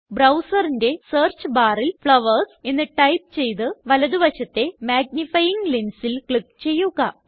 Browserന്റെ search barല് flowers എന്ന് type ചെയ്ത് വലതുവശത്തെ മാഗ്നിഫയിംഗ് lensല് ക്ലിക്ക് ചെയ്യുക